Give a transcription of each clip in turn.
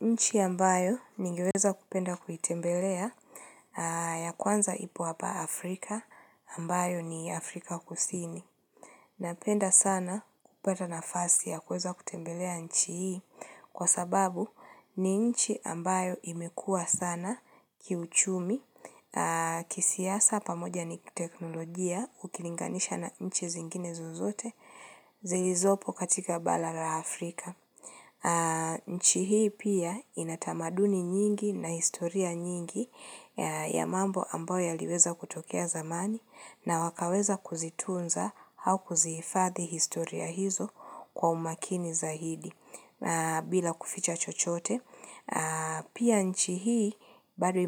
Nchi ambayo ningeweza kupenda kuitembelea ya kwanza ipo apa Afrika ambayo ni Afrika kusini. Napenda sana kupata nafasi ya kuweza kutembelea nchi hii kwa sababu ni nchi ambayo imekua sana kiuchumi kisiasa pamoja ni kiteknolojia ukilinganisha na nchi zingine zozote zilizopo katika bala la Afrika. Nchi hii pia ina tamaduni nyingi na historia nyingi ya mambo ambayo yaliweza kutokea zamani na wakaweza kuzitunza hau kuzifadhi historia hizo kwa umakini zahidi bila kuficha chochote. Pia nchi hii bado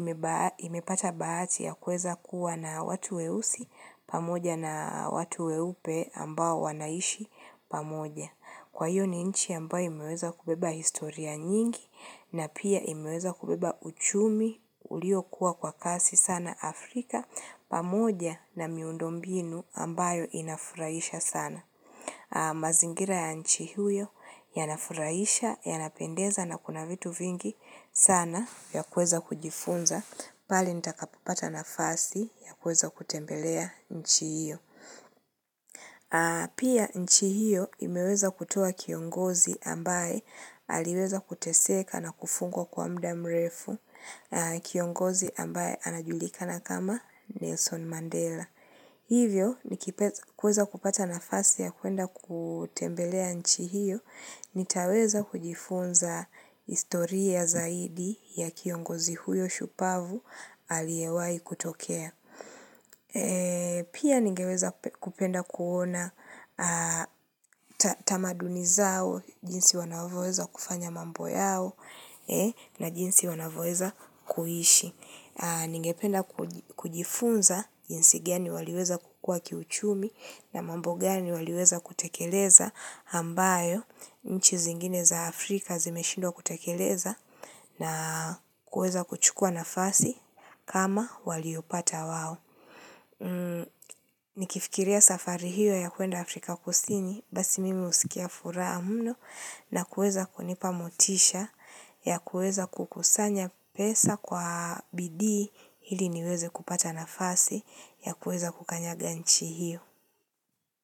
imepata bahati ya kuweza kuwa na watu weusi pamoja na watu weupe ambao wanaishi pamoja Kwa hiyo ni nchi ambao imeweza kubeba historia nyingi na pia imeweza kubeba uchumi uliokua kwa kasi sana Afrika pamoja na miundo mbinu ambayo inafuraisha sana mazingira ya nchi hiyo yanafuraisha, yanapendeza na kuna vitu vingi sana ya kuweza kujifunza pale nitakapopata nafasi ya kuweza kutembelea nchi hiyo. Pia nchi hiyo imeweza kutoa kiongozi ambaye aliweza kuteseka na kufungwa kwa mda mrefu kiongozi ambaye anajulikana kama Nelson Mandela. Hivyo, nikipa kuweza kupata nafasi ya kuenda kutembelea nchi hiyo, nitaweza kujifunza istoria zaidi ya kiongozi huyo shupavu aliyewai kutokea. Pia ningeweza kupenda kuona tamaduni zao, jinsi wanavyoeza kufanya mambo yao, na jinsi wanavyoeza kuishi. Ningependa kujifunza jinsi gani waliweza kukua kiuchumi na mambo gani waliweza kutekeleza hambayo nchi zingine za Afrika zimeshindwa kutekeleza na kueza kuchukua nafasi kama waliopata wao. Nikifikiria safari hiyo ya kwenda Afrika kusini basi mimi usikia furaha mno na kuweza kunipa motisha ya kuweza kukusanya pesa kwa bidii ili niweze kupata nafasi ya kuweza kukanyaga nchi hiyo.